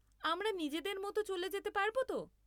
আমরা নিজেদের মতো চলে যেতে পারব তো?